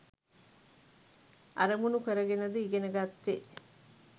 අරමුණු කරගෙනද ඉගෙන ගත්තෙ?